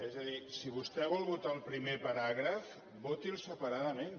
és a dir si vostè vol votar el primer paràgraf voti’l separadament